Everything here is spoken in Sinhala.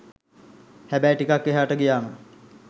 හැබැයි ටිකක් එහාට ගියාම